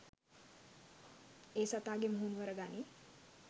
ඒ සතාගේ මුහුණුවර ගනී